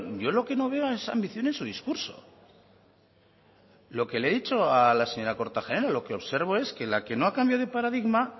yo lo que no veo es ambición en su discurso lo que le he dicho a la señora kortajarena lo que observo es que la que no ha cambiado de paradigma